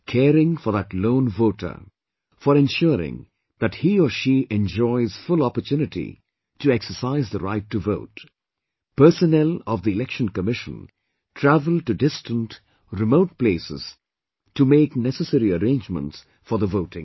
Caring for that lone voter, for ensuring that he or she enjoys full opportunity to exercise the right to vote, personnel of Election Commission travel to distant remote places to make necessary arrangements for the voting